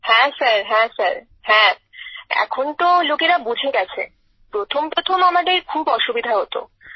হ্যাঁ স্যার হ্যাঁ স্যার হ্যাঁ এখন তো লোকেরা বুঝে গেছে প্রথম প্রথম আমাদের খুব অসুবিধা হত